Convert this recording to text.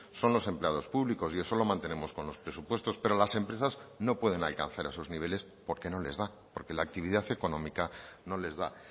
son los empleados públicos y eso lo mantenemos con los presupuestos pero las empresas no pueden alcanzar esos niveles porque no les da porque la actividad económica no les da